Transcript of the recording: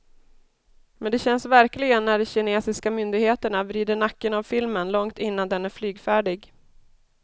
Men det känns verkligen när de kinesiska myndigheterna vrider nacken av filmen långt innan den är flygfärdig.